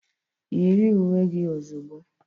Yiri uwe gị ozugbo.